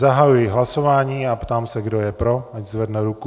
Zahajuji hlasování a ptám se, kdo je pro, ať zvedne ruku.